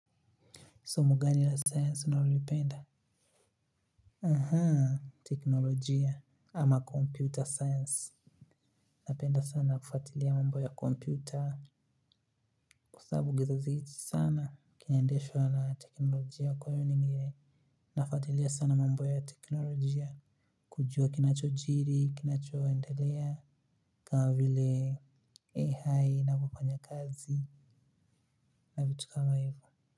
Somo gani la science unalolipenda? Aha, teknolojia ama computer science. Napenda sana kufatilia mambo ya kompyuta. Kwa sababu sana. Kinaendeshwa na teknolojia kwa hiyo nime nafatilia sana mambo ya teknolojia. Kujua kinachojiri, kinachoendelea, kama vile AI inavyofanya kazi na vitu kama hivo.